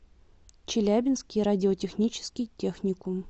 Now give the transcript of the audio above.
челябинский радиотехнический техникум